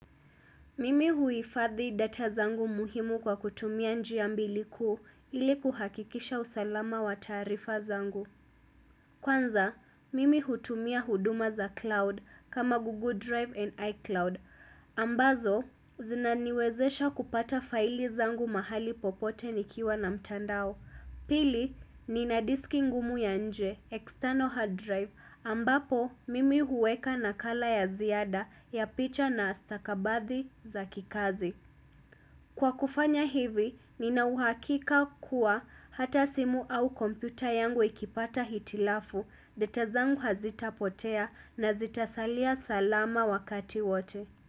Mimi huifadhi data zangu muhimu kwa kutumia njia mbili kuu ili kuhakikisha usalama wa taarifa zangu. Kwanza, mimi hutumia huduma za cloud kama Google Drive and iCloud. Ambazo, zinaniwezesha kupata faili zangu mahali popote nikiwa na mtandao. Pili, nina diski ngumu ya nje, external hard drive, ambapo mimi huweka nakala ya ziada ya picha na stakabadhi za kikazi. Kwa kufanya hivi, nina uhakika kuwa hata simu au kompita yangu ikipata hitilafu, data zangu hazitapotea na zitasalia salama wakati wote.